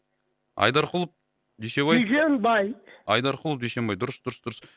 айдарқұлов дүйсебай дүйсенбай айдарқұлов дүйсенбай дұрыс дұрыс дұрыс